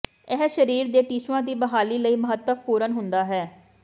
ਇਹ ਸਰੀਰ ਦੇ ਟਿਸ਼ੂਆਂ ਦੀ ਬਹਾਲੀ ਲਈ ਮਹੱਤਵਪੂਰਨ ਹੁੰਦਾ ਹੈ